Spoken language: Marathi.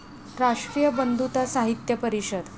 राष्ट्रीय बंधुता साहित्य परिषद